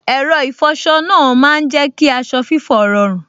Ẹ̀rọ ìfọsọ náà má n jẹ́ kí aṣọ fífọ́ rọrùn